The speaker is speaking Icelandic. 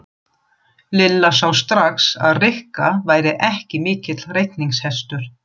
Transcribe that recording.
Lilla sá strax að Rikka væri ekki mikill reikningshestur.